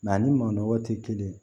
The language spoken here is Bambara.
ani manɔgɔ tɛ kelen ye